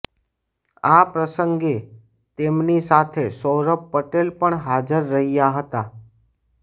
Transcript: આ પ્રસંગે તેમની સાથે સૌરભ પટેલ પણ હાજર રહ્યા હતા